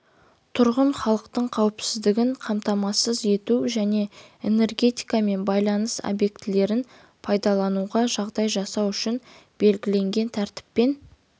тұрғын халықтың қауіпсіздігін қамтамасыз ету және энергетика мен байланыс объектілерін пайдалануға жағдай жасау үшін белгіленген тәртіппен